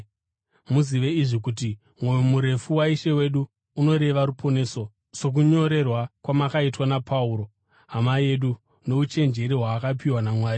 Muzive izvi kuti mwoyo murefu waIshe wedu unoreva ruponeso, sokunyorerwa kwamakaitwa naPauro hama yedu, nouchenjeri hwaakapiwa naMwari.